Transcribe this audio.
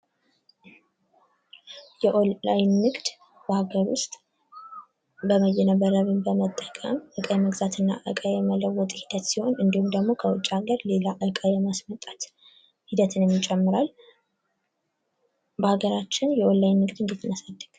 የ ኦንላይን ንግድ በሀገር ውስጥ በይነመረብ በመጠቀም እቃ የመግዛትና የመለወጥ ሂደት ሲሆን እንዲሁም ደግሞ ከውጭ አገር እቃ የማስመጣጣት ሂደትንም የሚጨምራል በሀገራችን ውስጥ እንዴት የኦላላይን ንግድ እናሳድግ?